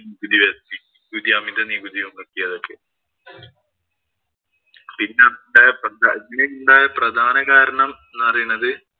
നികുതി ചുമത്തി. ഈ അമിത നികുതി ചുമത്തിയതൊക്കെ. പിന്നെ ഉണ്ടായ പിന്നെ ഉണ്ടായ പ്രധാന കാരണം എന്ന് പറയണത്